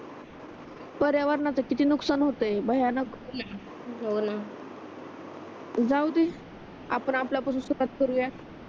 पर्यावरणाचा किती नुकसान होतोय भयानक हो न जाऊदे आपण आपल्या पासूनच सुरुवात करू या